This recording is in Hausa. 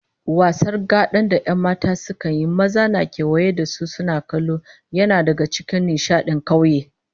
Wasar gada da 'yan mata sukan yi, maza na kewaye da su suna kallo, yana daga cikin nishadin kauye